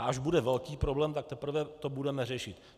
A až bude velký problém, tak teprve to budeme řešit.